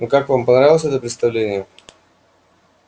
ну как вам понравилось это представление